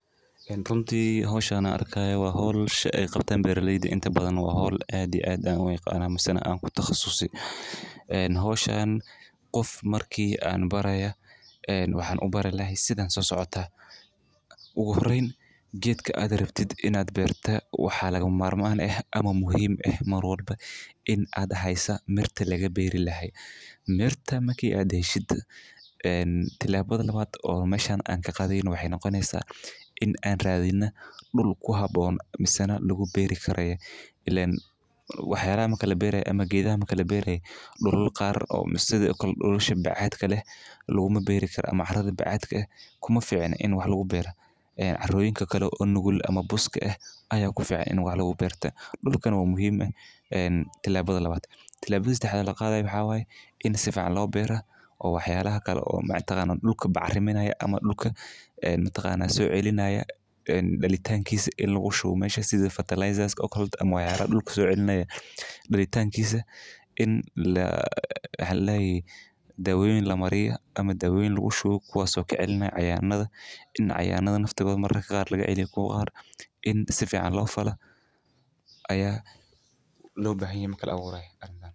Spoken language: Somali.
Ruuntii hawshaana arkaya waaxool shan qabtan beerileydi inta badan waa hawl aadi aadan way qaanaa misana aan ku takhasusi. Een hawshaan qof markii aan baraya een waxaan u baray lahay sidan soo socota. Ugu horreyn, geedka aad rabtid inaad beerta waxaa laga maarmaan ah ama muhiim ah maroolba in aad haysa mirta laga beiri lahay. Mirta makii aad heshid een tilaa badan la waad oo mashaan aan ka qadin waxay noqonaysaa in aan raadina dhul ku haboona. Misana lagu beiri karay ilen waxyaalada kala beeray ama geeda kala beeray. Dhulul qaar oo sida dhulusha bacaad kale laguma beiri kara ama carada bacaadka ah kuma fican in wax lagu beira. Caroyinka kale oo nugul ama buska ah ayaa ku fiican in wax lagu beerta. Dhulkan waa muhiim ah. Een tilaa badan la waad. Tilaba sida hadha la qaaday waxaa waaye, in si fican loo beera, oo waxyaalaha kale oo macno tagaan dhulka bacriminaya ama dhulka een tagaan soo celinaya. Een dhalitaankiisa in lagu shubto meesha sidi fertilisers ka ookaleto ama way caara dhulka soo celinaya. Dhalitaankiisa in la helay daawooyin la mariyo ama daawooyin lagu shubu kuwaasoo ka celinayo cayaanada. In cayaanada naftooda mararka qaar laga celino ko qaar in si fican loo fala. Ayaa loo baahanyi mar kala abuuray arintan.